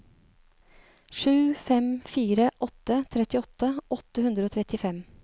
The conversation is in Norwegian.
sju fem fire åtte trettiåtte åtte hundre og trettifem